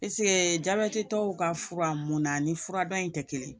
jabɛtitɔw ka fura munna ani furadɔ in tɛ kelen ye